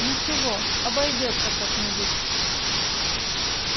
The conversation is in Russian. ничего обойдётся как-нибудь